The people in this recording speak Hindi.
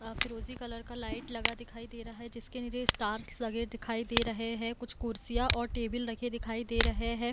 आखिर उसी कलर का लाइट लगा दिखाई दे रहा है जिसके नीचे स्टार्स लगे दिखाई दे रहे है कुछ कुर्सियां और टेबल रखे दिखाई दे रहे हैं ।